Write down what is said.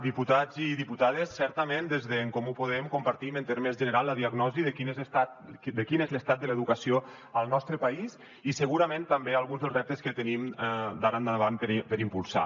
diputats i diputades certament des d’en comú podem compartim en termes general la diagnosi de quin és l’estat de l’educació al nostre país i segurament també alguns dels reptes que tenim d’ara endavant per impulsar